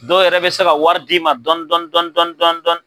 Dɔw yɛrɛ bɛ se ka wari di ma dɔn dɔn dɔn dɔn dɔn dɔn.